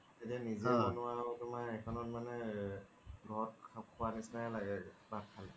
এতিয়া নিজে বনোৱা তুমাৰ এখনত মানে তুমাৰ ঘৰত খুৱাৰ নিচিনাই লাগে কিবা খালে